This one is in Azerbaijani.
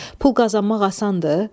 Pul qazanmaq asandır.